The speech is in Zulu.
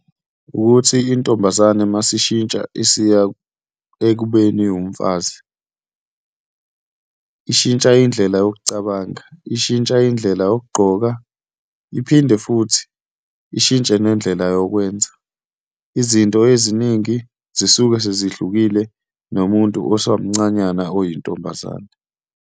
Wukuthi intombazane uma isishintsha isiya ekubeni umfazi, ishintsha indlela yokucabanga, ishintsha indlela yokugqoka, iphinde futhi ishintshe nendlela yokwenza. Izinto eziningi zisuke sezihlukile nomuntu osamncanyana oyintombazane.